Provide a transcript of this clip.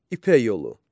İpək yolu.